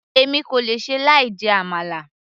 èmi kò lè ṣe láì jẹ àmàlà